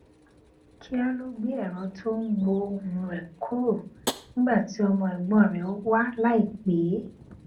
kíá ló gbé èrọ tó ń gbó ohùn rè kúrò nígbà tí ọmọ ègbón rè wá láìpè é